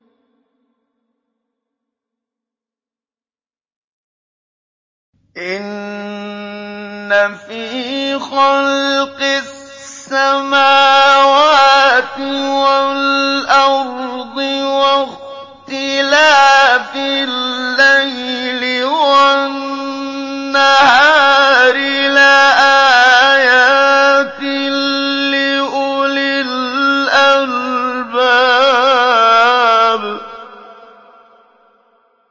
إِنَّ فِي خَلْقِ السَّمَاوَاتِ وَالْأَرْضِ وَاخْتِلَافِ اللَّيْلِ وَالنَّهَارِ لَآيَاتٍ لِّأُولِي الْأَلْبَابِ